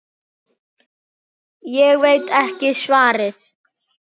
Ég veit ekki svarið.